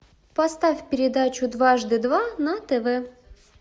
поставь передачу дважды два на тв